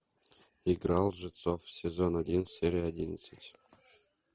игра лжецов сезон один серия одиннадцать